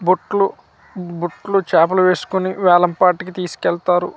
బుట్లు బుట్లో చాపలు వేసుకుని వేలంపాటికి తీసుకెళ్తారు.